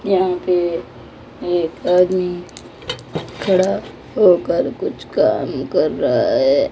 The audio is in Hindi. यहां पे एक आदमी खड़ा होकर कुछ काम कर रहा है।